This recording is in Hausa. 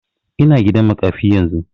Ina gidan makafi yanzu